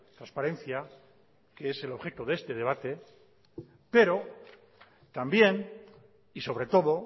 transparencia que es el objeto de este debate pero también y sobre todo